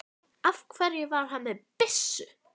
Af hverju var hann með byssu?